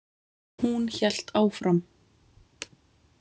Hún hélt áfram.